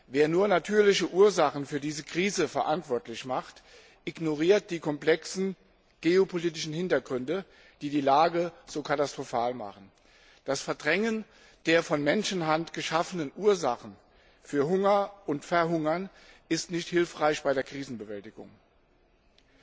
Wer nur natürliche Ursachen für diese Krise verantwortlich macht, ignoriert die komplexen geopolitischen Hintergründe, die die Lage so katastrophal machen. Das Verdrängen der von Menschenhand geschaffenen Ursachen für Hunger und Verhungern ist bei der Krisenbewältigung nicht hilfreich.